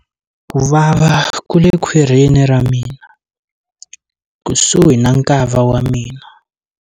Ku vava ku le khwirini ra mina, kusuhi na nkava wa mina.